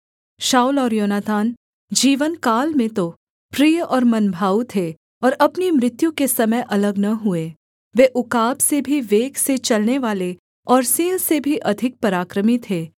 शाऊल और योनातान जीवनकाल में तो प्रिय और मनभाऊ थे और अपनी मृत्यु के समय अलग न हुए वे उकाब से भी वेग से चलनेवाले और सिंह से भी अधिक पराक्रमी थे